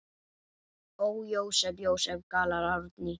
Ó, Jósep, Jósep, galar Árný.